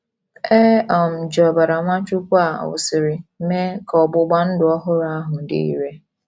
E um ji ọbara Nwachukwu a wụsịrị mee ka ọgbụgba ndụ ọhụrụ ahụ dị irè.